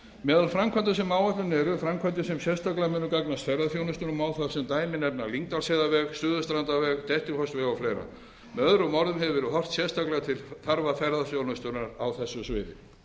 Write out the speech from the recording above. meðal framkvæmda sem á áætluninni eru framkvæmdir sem sérstaklega munu gagnast ferðaþjónustunni og má þar sem dæmi nefna lyngdalsheiðarveg suðurstrandarveg dettifossveg og fleiri með öðrum orðum hefur verið horft sérstaklega til þarfa ferðaþjónustunnar á þessu sviði